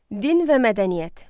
Din və mədəniyyət.